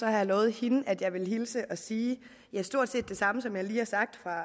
jeg lovet hende at jeg vil hilse og sige stort set det samme som jeg lige har sagt fra